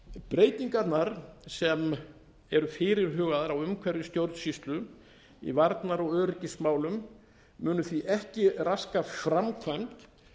breytingarnar sem eru fyrirhugaðar á umhverfi stjórnsýslu í varnar og öryggismálum munu því ekki raska framkvæmd